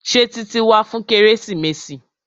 Ṣé Títí wá fún kérésìmesì?